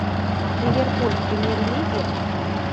ливерпуль в премьер лиге